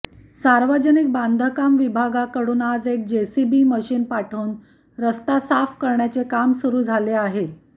सार्वजनिक बांधकाम विभागाकडून आज एक जेसीबी मशीन पाठवून रस्ता साफ करण्याचे काम सुरू झाले आहे